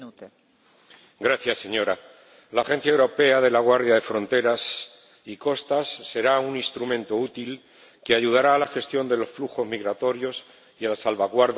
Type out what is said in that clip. Señora Presidenta, la Agencia Europea de la Guardia de Fronteras y Costas será un instrumento útil que ayudará a la gestión de los flujos migratorios y a la salvaguarda del espacio Schengen.